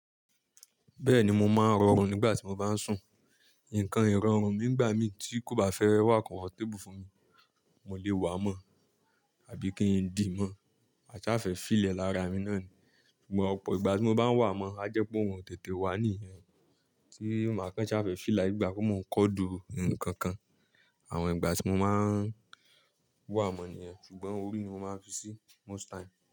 Bẹ́ẹ̀ni mo máa ń rọrun nígbà tí mo bá ń sùn. Nǹkan ìrọ̀rùn mi nígbà mi tí kò bá fẹ́ wá kọnfọtébù fún mi, mo lè wà mọ́ àbí kí n di mọ́. Ma ṣa fẹ feel ẹ lára mi náà ni. Ṣùgbọ́n ọ̀pọ̀ ìgbà tí mo bá ń wà mọ́, a jẹ́ pé orun o tètè wà níìyẹn tí màá kan ṣa fẹ feel like bi ìgbà pe mo ń kọdu ǹkan kan. Àwọn ìgbà tí mo máa ń wà mọ́ nìyẹn, ṣùgbọ́n orí ni mo máa ń fi sí most time.